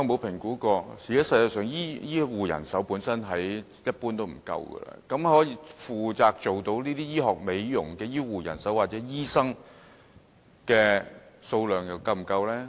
現時全球醫護人手普遍不足，局長有否評估可以負責進行這些醫學美容程序的醫護人手或醫生是否足夠呢？